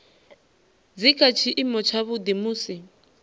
dzi kha tshiimo tshavhuḓi musi